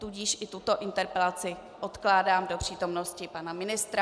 Tudíž i tuto interpelaci odkládám do přítomnosti pana ministra.